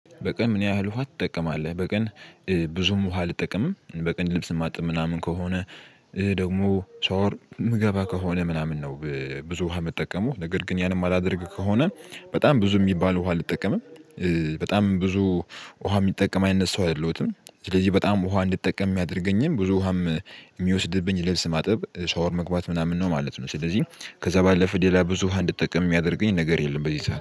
በቀን ምን ያህል ውሃ ትጠቀማለህ? በቀን ብዙም ውሃ አልጠቀምም በቀን ልብስ ማጥብ ምናምን ከሆነ ደግሞ ሻወር ምገባ ከሆነ ምናምን ነው ብዙ ውሃ የምጠቀመው ነገር ግን ያን የማላደርግ ከሆነ በጣም ብዙ የሚባል ውሃ አልጠቀምም በጣም ብዙ ውሃ የሚጠቀም አይነት ሰው አይደለውትም። ስለዚህ በጣም ውሃ እንድጠቀም ሚያደርገኝም ብዙ ውሃም የሚወስድብኝ ልብስ ማጥበብ ሻወር መግባት ምናምን ነው ማለት ነው። ስለዚህ ከዛ ባለፈ ሌላ ብዙ እንድትጠቀም የሚያደርገኝ ነገር የለም በዚህ ሰዓት